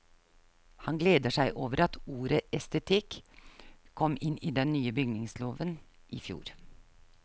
Han gleder seg over at ordet estetikk kom inn i den nye bygningsloven i fjor.